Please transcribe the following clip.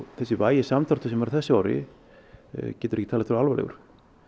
þessi vægi samdráttur sem er á þessu ári getur ekki talist alvarlegur